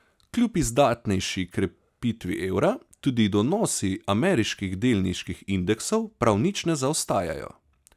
Kljub izdatnejši krepitvi evra tudi donosi ameriških delniških indeksov prav nič ne zaostajajo.